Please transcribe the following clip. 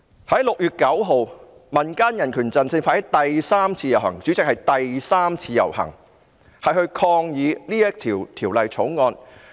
在6月9日，民間人權陣線發起第三次遊行——主席，是第三次遊行——抗議這項《條例草案》。